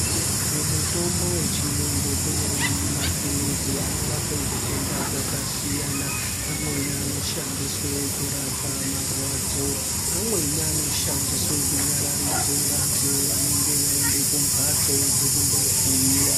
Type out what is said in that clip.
Mumitombo yechirungu nemapirizi anorapa zvitenda zvakasiyana amweni anoshandiswa kurapa marwadzo amweni anoshandiswa kunyararidza vantu vanenge vaenda kumbatso dzekundovhiiwa.